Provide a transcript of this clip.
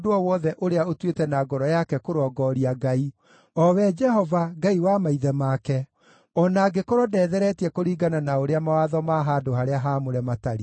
ũrĩa ũtuĩte na ngoro yake kũrongooria Ngai, o we Jehova, Ngai wa maithe make, o na angĩkorwo ndetheretie kũringana na ũrĩa mawatho ma handũ-harĩa-haamũre matariĩ.”